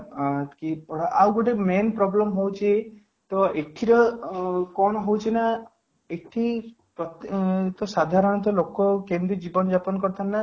କି ଅଂ ଆଉ ଗୋଟେ main problem ହେଉଛି ତ ଏଥିରେ ଅଂ କ'ଣ ହଉଛି ନା ଏଠି ସାଧାରଣତଃ ଲୋକ କେମିତି ଜୀବନ ଯାପନ କରିଥାନ୍ତେ